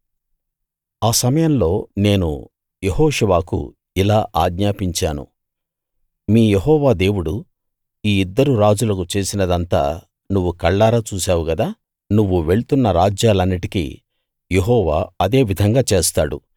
ఆ సమయంలో నేను యెహోషువకు ఇలా ఆజ్ఞాపించాను మీ యెహోవా దేవుడు ఈ ఇద్దరు రాజులకు చేసినదంతా నువ్వు కళ్ళారా చూశావు గదా నువ్వు వెళ్తున్న రాజ్యాలన్నిటికీ యెహోవా అదే విధంగా చేస్తాడు